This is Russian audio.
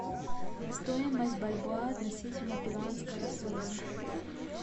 стоимость бальбоа относительно перуанского соля